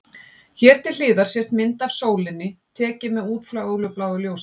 Hér til hliðar sést mynd af sólinni, tekin með útfjólubláu ljósi.